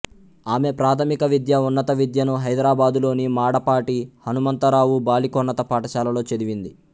ఆమె ప్రాథమిక విద్య ఉన్నత విద్యను హైదరాబాదులోని మాడపాటి హనుమంతరావు బాలికోన్నత పాఠశాలలో చదివింది